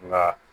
Nka